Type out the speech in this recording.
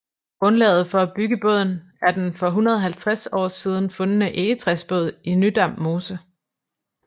Grundlaget for at bygge båden er den for 150 år siden fundne egetræsbåd i Nydam Mose